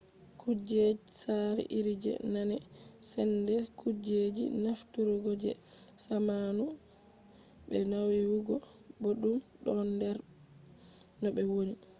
kujej sare iri je nane sende kujeji nafturgo je zamanu be naiwugo boddum don der no be woni